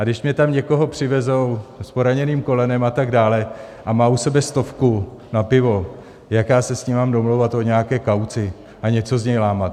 A když mně tam někoho přivezou s poraněným kolenem a tak dále a má u sebe stovku na pivo, jak já se s ním mám domlouvat o nějaké kauci a něco z něj lámat?